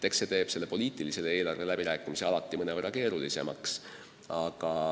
Eks see teeb poliitilise eelarve läbirääkimised alati mõnevõrra keerulisemaks.